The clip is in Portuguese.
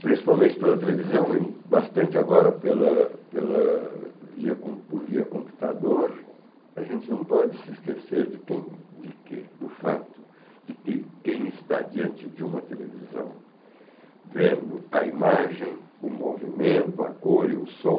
principalmente pela televisão e bastante agora pela pela via por via computador, a gente não pode se esquecer de quem de que do fato de que quem está diante de uma televisão vendo a imagem, o movimento, a cor e o som,